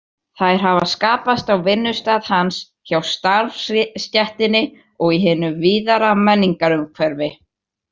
Þær hafa skapast á vinnustað hans, hjá starfsstéttinni og í hinu víðara menningarumhverfi.